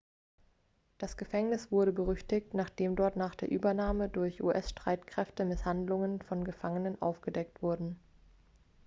das gefängnis wurde berüchtigt nachdem dort nach der übernahme durch us-streitkräfte misshandlungen von gefangenenen aufgedeckt wurden